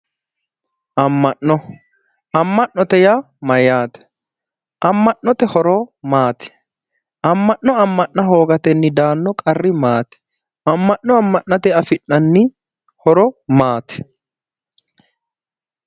Amma'no amma'note yaa mayyaate amma'note horo maati amma'no amma'na hoogatenni daanno qarri maati amma'no amma'natenni afi'nanni horo maati